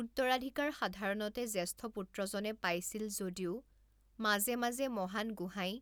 উত্তৰাধিকাৰ সাধাৰণতে জ্যেষ্ঠ পুত্ৰজনে পাইছিল যদিও মাজে মাজে মহান গোহাঁই